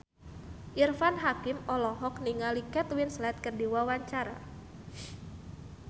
Irfan Hakim olohok ningali Kate Winslet keur diwawancara